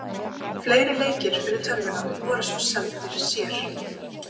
Fleiri leikir fyrir tölvuna voru svo seldir sér.